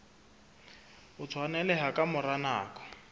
o tshwaneleha ka mora nako